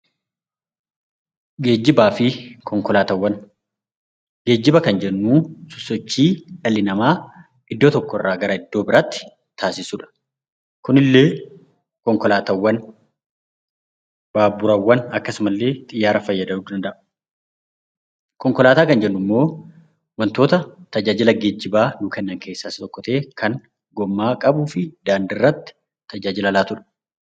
Geejjibaa fi konkolaataawwan Geejjiba kan jennu sosochii dhalli namaa iddoo tokko irraa gara iddoo biraatti taasisu dha. Kunillee konkolaataawwan, baaburaawwan fi akkasumallee xiyyaara fayyadamuu danda'a. Konkolaataawwan kan jennu immoo wantoota tajaajila geejjibaa nuu kennan keessaa isa tokko ta'ee, gommaa qabuu fi daandii irratti tajaajila laatu dha.